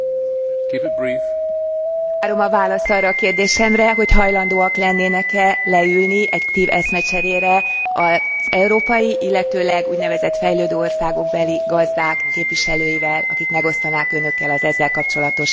Várom a választ arra a kérdésemre, hogy hajlandóak lennének e leülni egy konstruktív eszmecserére az európai, illetőleg úgynevezett fejlődő országokbeli gazdák képviselőivel, akik megosztanák Önökkel az ezzel kapcsolatos saját tapasztalataikat.